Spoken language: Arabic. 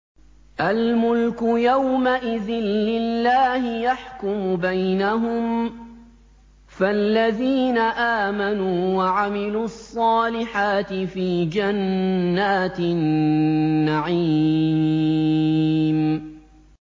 الْمُلْكُ يَوْمَئِذٍ لِّلَّهِ يَحْكُمُ بَيْنَهُمْ ۚ فَالَّذِينَ آمَنُوا وَعَمِلُوا الصَّالِحَاتِ فِي جَنَّاتِ النَّعِيمِ